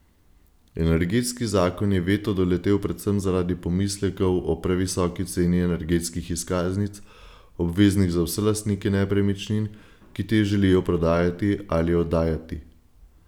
Energetski zakon je veto doletel predvsem zaradi pomislekov o previsoki ceni energetskih izkaznic, obveznih za vse lastnike nepremičnin, ki te želijo prodajati ali oddajati.